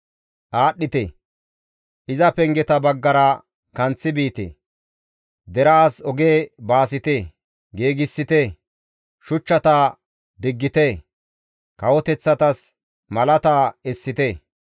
Aadhdhite! Iza pengeta baggara kanththi biite; deraas oge baasite; giigsite; shuchchata diggite; kawoteththatas malaata essite.